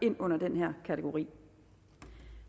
ind under den her kategori